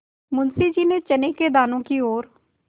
मुंशी जी ने चने के दानों की ओर